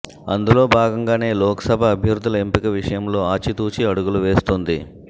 అందులో భాగంగానే లోక్సభ అభ్యర్థుల ఎంపిక విషయంలో ఆచితూచి అడుగులు వేస్తోంది